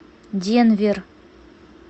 денвер